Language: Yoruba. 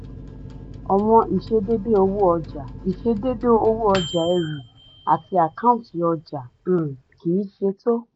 àwọn ìṣedéédé owó ọjà ìṣedéédé owó ọjà eru àti àkáǹtì ọjà um kì í ṣetó.